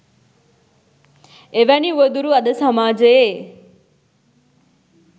එවැනි උවදුරු අද සමාජයේ